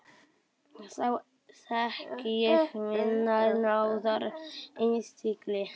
Þá þekki ég minnar náðar innsigli.